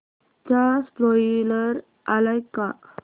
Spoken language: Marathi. चा स्पोईलर आलाय का